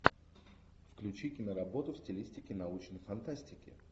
включи киноработу в стилистике научной фантастики